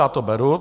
Já to beru.